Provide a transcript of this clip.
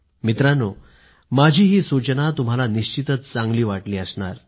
मित्रांनो माझी ही सूचना तुम्हाला निश्चितच चांगली वाटली असणार